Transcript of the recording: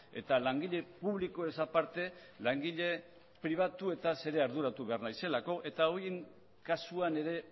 eta langile publikoez aparte langile pribatuetaz ere arduratu behar naizelako eta horien kasuan ere